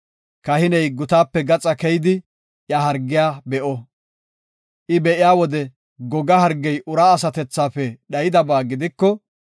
Kahiney gutaape gaxaa keyidi iya hargiya be7o. I be7iya wode goga hargey uraa asatethafe dhayidabaa gidiko,